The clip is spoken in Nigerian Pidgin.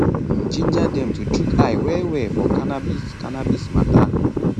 im ginger dem to chook eye wellwell for cannabis cannabis mata